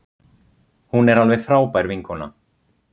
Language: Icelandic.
Hún er alveg frábær vinkona.